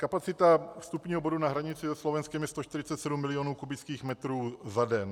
Kapacita vstupního bodu na hranici se Slovenskem je 147 milionů kubických metrů za den.